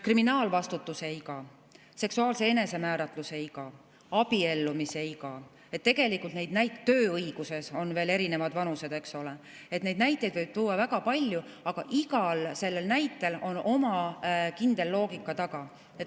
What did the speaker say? Kriminaalvastutuse iga, seksuaalse enesemääratluse iga, abiellumisiga – tööõiguses on erinevad vanused, eks ole – neid näiteid võib tuua väga palju, aga igal näitel on oma kindel loogika taga.